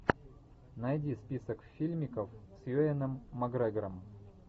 найди список фильмиков с юэном макгрегором